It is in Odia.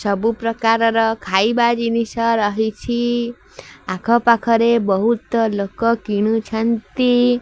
ସବୁ ପ୍ରକାରର ଖାଇବା ଜିନିଷ ରହିଛି ଆଖ ପାଖରେ ବୋହୁତ ଲୋକ କିଣୁଚନ୍ତି।